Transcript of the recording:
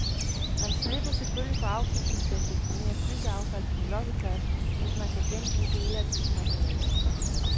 Man slipper selvfølgelig for afgifterne til at deponere byggeaffald på en losseplads, hvis man kan genbruge dele af byggematerialerne.